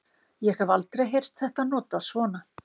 ég hef aldrei heyrt þetta notað svona